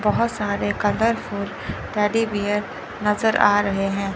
बहोत सारे colourful teddy bear नजर आ रहे हैं।